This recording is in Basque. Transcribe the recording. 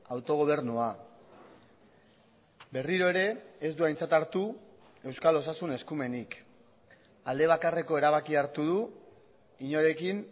autogobernua berriro ere ez du aintzat hartu euskal osasun eskumenik alde bakarreko erabakia hartu du inorekin